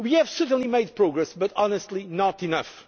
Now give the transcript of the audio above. We have certainly made progress but, honestly, not enough.